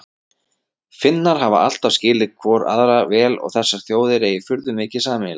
Finnar hafi alltaf skilið hvorir aðra vel og að þessar þjóðir eigi furðu mikið sameiginlegt.